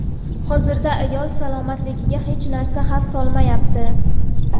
Hozirda ayol salomatligiga hech narsa xavf solmayapti.